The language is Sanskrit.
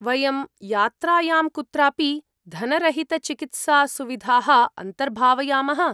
वयं यात्रायां कुत्रापि धनरहितचिकित्सासुविधाः अन्तर्भावयामः।